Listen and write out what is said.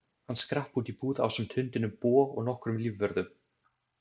Hann skrapp út í búð ásamt hundinum Bo og nokkrum lífvörðum.